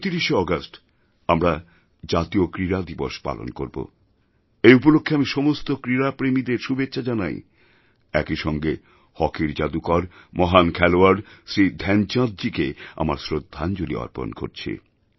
২৯শেআগস্ট আমরা জাতীয় ক্রীড়া দিবস পালন করব এই উপলক্ষ্যে আমি সমস্ত ক্রীড়াপ্রেমীদের শুভেচ্ছা জানাই একই সঙ্গে হকির জাদুকর মহান খেলোয়াড় শ্রীধ্যানচাঁদজীকে আমার শ্রদ্ধাঞ্জলি অর্পণ করছি